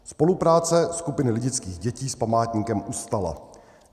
Spolupráce skupiny lidických dětí s památníkem ustala.